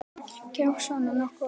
Gerist svona nokkuð oft?